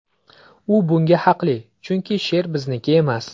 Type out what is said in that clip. U bunga haqli, chunki she’r bizniki emas.